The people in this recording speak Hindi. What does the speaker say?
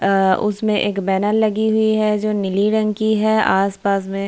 आ उसमें एक बैनर लगी हुई है जो नीली रंग की है आस-पास में --